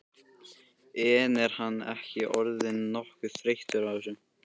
En er hann ekki orðinn nokkuð þreyttur á þessu?